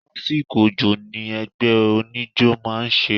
Lásìkò òjò ni ẹgbẹ́ oníjó máa ń ṣeré.